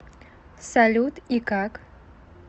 салют и как